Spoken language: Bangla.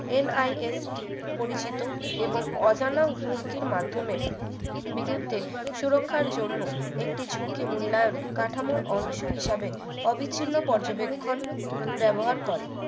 NIST পরিচিত এবং অজানা হুমকির মাধ্যমে বিরুদ্ধে সুরক্ষার জন্য একটি ঝুঁকি মূল্যায়ন কাঠামোর অংশ হিসাবে অবিচ্ছিন্ন পর্যবেক্ষণ ব্যবহার করে